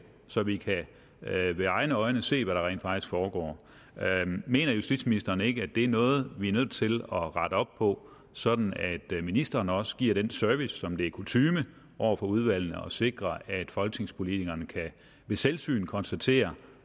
så vi med egne øjne kan se hvad der rent faktisk foregår mener justitsministeren ikke det er noget vi er nødt til at rette op på sådan at ministeren også giver den service som det er kutyme over for udvalgene nemlig at sikre at folketingspolitikerne ved selvsyn kan konstatere